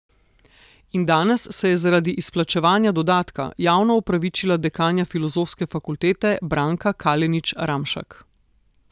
In danes se je zaradi izplačevanja dodatka javno opravičila dekanja filozofske fakultete Branka Kalenić Ramšak.